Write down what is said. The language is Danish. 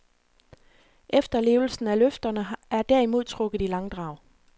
Efterlevelsen af løfterne er derimod trukket i langdrag.